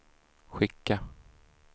skicka